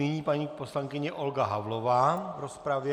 Nyní paní poslankyně Olga Havlová v rozpravě.